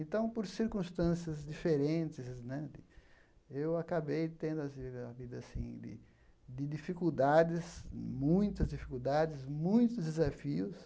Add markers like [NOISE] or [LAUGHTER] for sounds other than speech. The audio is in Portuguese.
Então, por circunstâncias diferentes né, eu acabei tendo [UNINTELLIGIBLE] a vida assim de dificuldades, muitas dificuldades, muitos desafios,